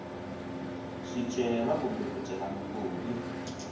swicelwa kumbe ku cela mugodi